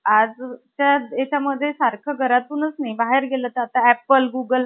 आजचा हेच्या मध्ये , सारखं घरातूनच आस नाही आता बाहेर गेलं तर . आता apple , google